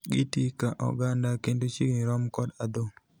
Gi tii ka oganda kendo chiegni rom kod adhong'.